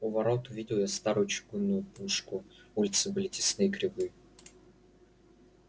у ворот увидел я старую чугунную пушку улицы были тесны и кривы